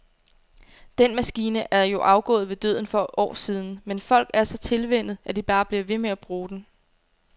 Den maskine er jo afgået ved døden for år siden, men folk er så tilvænnet, at de bare bliver ved med at bruge den.